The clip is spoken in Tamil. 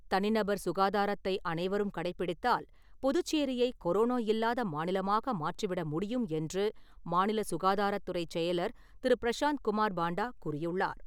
தனிநபர் சுகாதாரத்தை அனைவரும் கடைபிடித்தால், புதுச்சேரியை கொரோனோ இல்லாத மாநிலமாக மாற்றிவிட முடியும் என்று, மாநில சுகாதாரத்துறைச் செயலர் திரு. பிரஷாந்த் குமார் பாண்டா கூறியுள்ளார்.